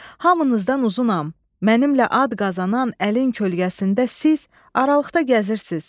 Hamınızdan uzunam, mənimlə ad qazanan əlin kölgəsində siz aralıqda gəzirsiz.